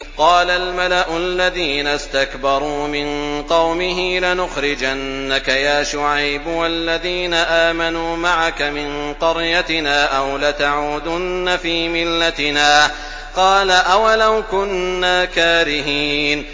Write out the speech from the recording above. ۞ قَالَ الْمَلَأُ الَّذِينَ اسْتَكْبَرُوا مِن قَوْمِهِ لَنُخْرِجَنَّكَ يَا شُعَيْبُ وَالَّذِينَ آمَنُوا مَعَكَ مِن قَرْيَتِنَا أَوْ لَتَعُودُنَّ فِي مِلَّتِنَا ۚ قَالَ أَوَلَوْ كُنَّا كَارِهِينَ